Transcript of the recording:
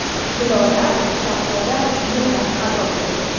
Zilola (Shahzoda) yig‘lab ado bo‘ldi.